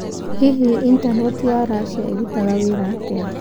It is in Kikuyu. Hihi intaneti ya Russia ĩrutaga wĩra atĩa?